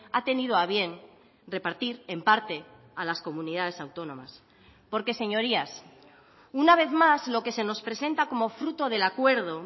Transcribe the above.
ha tenido a bien repartir en parte a las comunidades autónomas porque señorías una vez más lo que se nos presenta como fruto del acuerdo